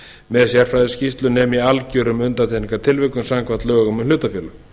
með sérfræðiskýrslu nema í algjörum undantekningartilvikum samkvæmt lögum um hlutafélög